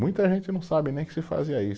Muita gente não sabe nem que se fazia isso.